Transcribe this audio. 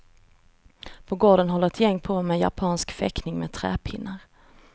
På gården håller ett gäng på med japansk fäktning med träpinnar.